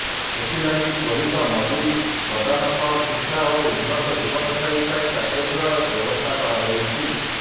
ସେଥିଲାଗି ତ୍ୱରିତ ମଜୁରି ପ୍ରଦାନ ସହ ଶିକ୍ଷା ଓ ଉନ୍ନତ ଜୀବନଶୈଳୀ ପାଇଁ ପ୍ୟାକେଜ୍ ରେ ବ୍ୟବସ୍ଥା କରାଯାଇଛି